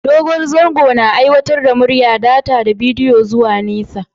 Dogon zango na aikar da murya, data da bidiyo zuwa nesa.